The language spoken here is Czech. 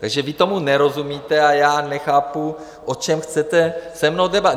Takže vy tomu nerozumíte a já nechápu, o čem chcete se mnou debatovat.